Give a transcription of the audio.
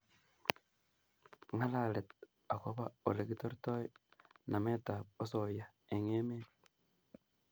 Ngalalet agobo Ole kitortoi nametab osoya eng emet